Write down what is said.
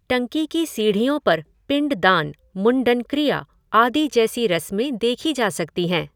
टंकी की सीढ़ियों पर पिंड दान, मुंडन क्रिया आदि जैसी रस्में देखी जा सकती हैं।